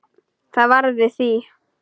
Það varð við því.